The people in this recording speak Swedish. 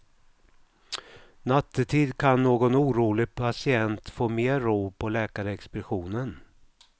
Nattetid kan någon orolig patient få mer ro på läkarexpeditionen.